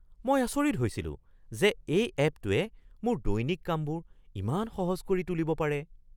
মই আচৰিত হৈছিলো যে এই এপটোৱে মোৰ দৈনিক কামবোৰ ইমান সহজ কৰি তুলিব পাৰে।